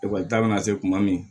Ekɔli ta bɛ na se kuma min